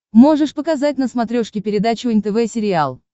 можешь показать на смотрешке передачу нтв сериал